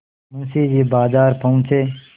मुंशी जी बाजार पहुँचे